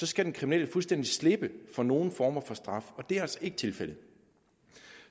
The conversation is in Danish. skal den kriminelle fuldstændige slippe for nogen former for straf og det er altså ikke tilfældet